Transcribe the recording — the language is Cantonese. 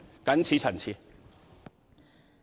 謹此陳辭。